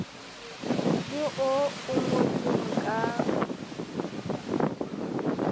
le oo o ngotseng ka